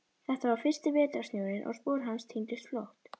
Þetta var fyrsti vetrarsnjórinn og spor hans týndust fljótt.